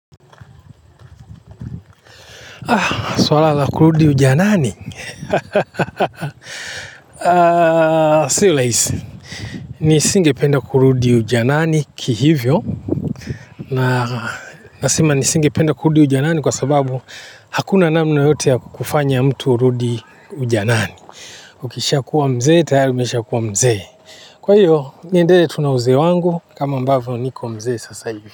Swala la, kurudi ujanani. Sio rahisi. Ni singependa kurudi ujanani kihivyo. Na nasema ni singependa kurudi ujanani kwa sababu hakuna namna yoyote ya kufanya mtu urudi ujanani. Ukishaa kuwa mzee, tayari umeshaa kuwa mzee. Kwa hiyo, niendelee tu nauzee wangu, kama ambavyo niko mzee sasa hivi.